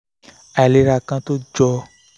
àìlera kan tó jọ